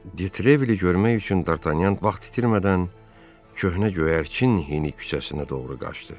De Trevile-i görmək üçün D'Artagnan vaxt itirmədən Köhnə Göyərçin hini küçəsinə doğru qaçdı.